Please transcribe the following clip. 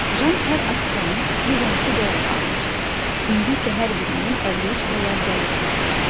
Jan hər aksiyanı 112 dollara almışdı, indi isə hər birindən 53 dollar zərər çəkirdi.